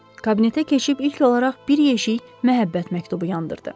Kabinetə keçib ilk olaraq bir yeşik məhəbbət məktubu yandırdı.